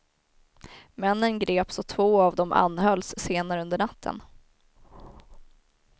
Männen greps och två av dem anhölls senare under natten.